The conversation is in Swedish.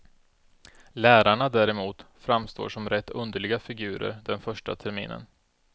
Lärarna däremot framstår som rätt underliga figurer den första terminen.